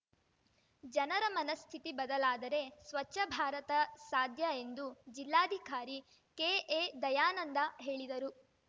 ಜನರ ಮನಸ್ಥಿತಿ ಬದಲಾದರೆ ಸ್ವಚ್ಛ ಭಾರತ ಸಾಧ್ಯ ಎಂದು ಜಿಲ್ಲಾಧಿಕಾರಿ ಕೆಎ ದಯಾನಂದ ಹೇಳಿದರು